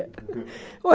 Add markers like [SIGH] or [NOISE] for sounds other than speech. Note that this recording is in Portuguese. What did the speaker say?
[LAUGHS] Oh